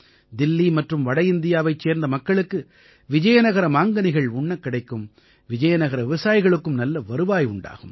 தில்லி மற்றும் வட இந்தியாவைச் சேர்ந்த மக்களுக்கு விஜயநகர மாங்கனிகள் உண்ணக் கிடைக்கும் விஜயநகர விவசாயிகளுக்கும் நல்ல வருவாய் உண்டாகும்